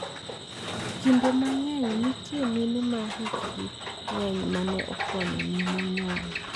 Kinde mang`eny nitie mine ma hikgi ng`eny ma ne konyo mine nyuol.